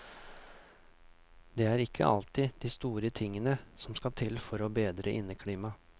Det er ikke alltid de store tingene som skal til for å bedre inneklimaet.